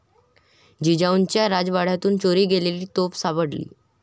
जिजाऊच्या राजवाड्यातून चोरी गेलेली तोफ सापडली